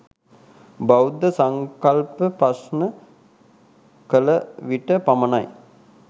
බෞද්ධ සංකල්ප ප්‍රශ්න කල විට පමණයි.